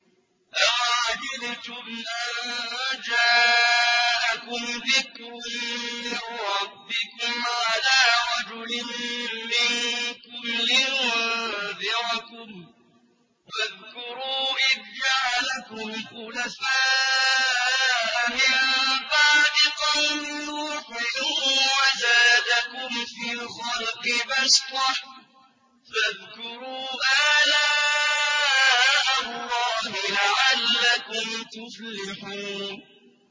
أَوَعَجِبْتُمْ أَن جَاءَكُمْ ذِكْرٌ مِّن رَّبِّكُمْ عَلَىٰ رَجُلٍ مِّنكُمْ لِيُنذِرَكُمْ ۚ وَاذْكُرُوا إِذْ جَعَلَكُمْ خُلَفَاءَ مِن بَعْدِ قَوْمِ نُوحٍ وَزَادَكُمْ فِي الْخَلْقِ بَسْطَةً ۖ فَاذْكُرُوا آلَاءَ اللَّهِ لَعَلَّكُمْ تُفْلِحُونَ